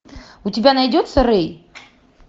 у тебя найдется рэй